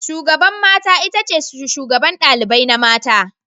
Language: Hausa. Shugaban mata itace shugaban ɗalibai na mace.